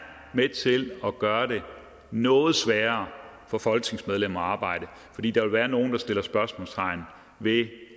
med til at gøre det noget sværere for folketingsmedlemmer at arbejde fordi der vil være nogle der sætter spørgsmålstegn ved